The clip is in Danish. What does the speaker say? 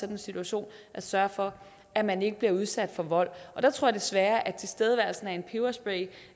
en situation at sørge for at man ikke bliver udsat for vold og jeg tror desværre at tilstedeværelsen af en peberspray